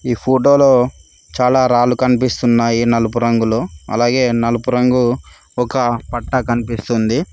ఈ ఫోటోలో చాలా రాళ్లు కనిపిస్తున్నాయి నలుపు రంగులో అలాగే నలుపు రంగు ఒక పట్టా కనిపిస్తుంది.